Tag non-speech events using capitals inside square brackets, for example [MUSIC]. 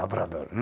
Lavrador [UNINTELLIGIBLE]